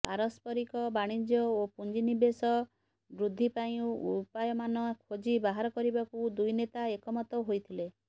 ପାରସ୍ପରିକ ବାଣିଜ୍ୟ ଓ ପୁଞ୍ଜିନିବେଶ ବୃଦ୍ଧି ପାଇଁ ଉପାୟମାନ ଖୋଜି ବାହାର କରିବାକୁ ଦୁଇନେତା ଏକମତ ହୋଇଥିଲେ